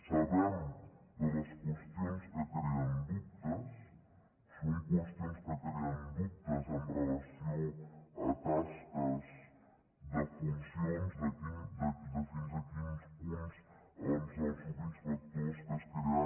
sabem de les qüestions que creen dubtes són qüestions que creen dubtes amb relació a tasques de funcions de fins a quin punt doncs els subinspectors que es crearan